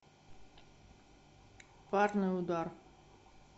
парный удар